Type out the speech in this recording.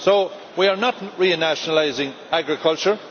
So we are not renationalising agriculture.